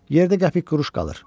Yerdə qəpik quruş qalır.